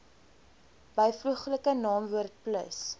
byvoeglike naamwoord plus